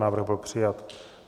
Návrh byl přijat.